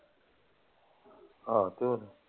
ਆਹੋ ਤੇ ਹੋਰ।